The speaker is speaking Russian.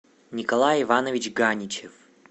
николай иванович ганичев